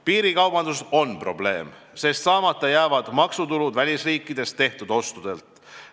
" Piirikaubandus on probleem, sest saamata jääb maksutulu välisriikides tehtud ostudelt.